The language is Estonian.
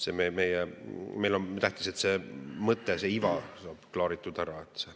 Meile on tähtis, et see mõte, see iva saab ära klaaritud.